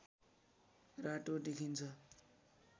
रातो देखिन्छ